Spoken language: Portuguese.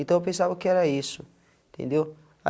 Então, eu pensava que era isso, entendeu?